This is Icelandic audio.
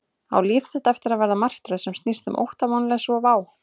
Á líf þitt eftir að verða martröð sem snýst um ótta, vonleysi og vá?